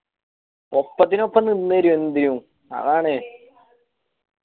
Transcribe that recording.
ഒപ്പത്തിനൊപ്പം നിന്നെരും എന്തിനും അതാണ്